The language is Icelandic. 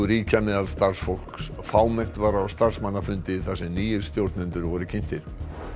ríkja meðal starfsfólks fámennt var á starfsmannafundi þar sem nýir stjórnendur voru kynntir